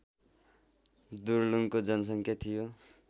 दुर्लुङको जनसङ्ख्या थियो